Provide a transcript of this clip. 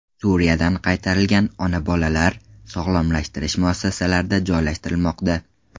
Suriyadan qaytarilgan ona-bolalar sog‘lomlashtirish muassasalarida joylashtirilmoqda.